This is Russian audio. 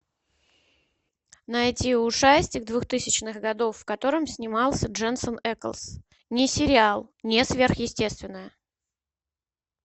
найти ужастик двухтысячных годов в котором снимался дженсен эклс не сериал не сверхъестественное